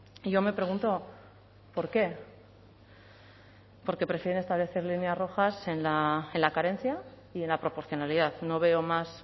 y yo me pregunto por qué porque prefieren establecer líneas rojas en la carencia y en la proporcionalidad no veo más